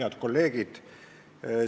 Head kolleegid!